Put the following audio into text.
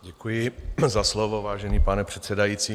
Děkuji za slovo, vážený pane předsedající.